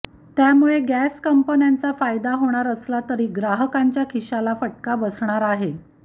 त्यामुळे गॅस कंपन्यांचा फायदा होणार असला तरी ग्राहकांच्या खिशाला फटका बसणार आहे